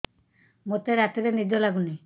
ମୋତେ ରାତିରେ ନିଦ ଲାଗୁନି